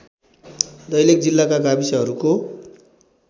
दैलेख जिल्लाका गाविसहरूको